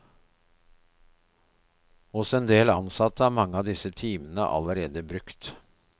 Hos en del ansatte er mange av disse timene allerede brukt.